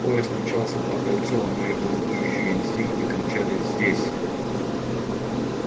поезд мчался по кольцу а мои бунтующие инстинкты кричали здесь